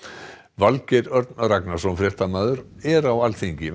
Valgeir Örn Ragnarsson fréttamaður er á Alþingi